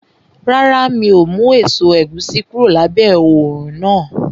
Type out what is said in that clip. Rárá, mi ò mú èso ẹ̀gúsí kúrò lábẹ́ òrùn náà